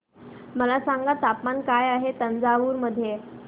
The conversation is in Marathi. मला सांगा तापमान काय आहे तंजावूर मध्ये